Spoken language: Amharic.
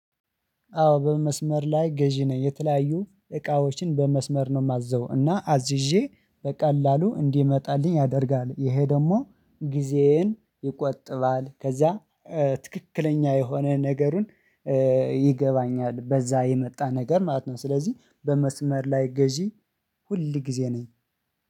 አወ በመስመር ላይ ገዢ ነኝ የተለያዩ እቃወችን በመስመር ነው የማዘው እና አዝዠ በቀላሉ እንዲመጣልኝ ያደርጋል ይሀ ደግሞ ግዚየን ይቆጥባል ከዚያ ትክክለኛ የሆነ ነገርን ይገባኛል በዛ የመጣ ነገር ማለት ነው። ስለዚህ በመስመር ላይ ገዢ ሁልጊዜ ነኝ።